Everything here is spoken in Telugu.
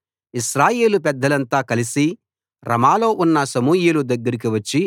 ఇశ్రాయేలు పెద్దలంతా కలసి రమాలో ఉన్న సమూయేలు దగ్గరకి వచ్చి